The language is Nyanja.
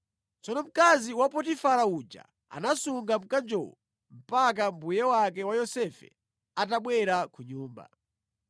Tsono mkazi wa Potifara uja anasunga mkanjowo mpaka mbuye wake wa Yosefe atabwera ku nyumba.